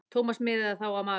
Thomas miðaði þá á magann.